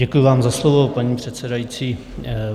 Děkuju vám za slovo, paní předsedající.